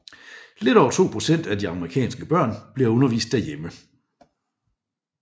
Lidt over to procent af de amerikanske børn bliver undervist derhjemme